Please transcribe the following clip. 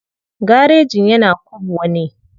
Garejin yana kubwa ne.